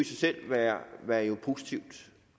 sig selv være positivt